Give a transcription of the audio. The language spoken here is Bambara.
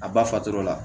A ba faturala